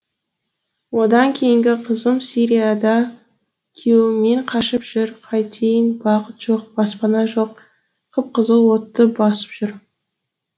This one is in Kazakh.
одан кейінгі қызым сирияда күйеуімен қашып жүр қайтейін бақыт жоқ баспана жоқ қып қызыл отты басып жүр